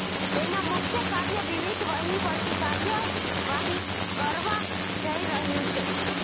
તેના મુખ્ય કાર્ય વિવિધ વહીવટી કાર્યવાહી કરવા જઈ રહ્યું છે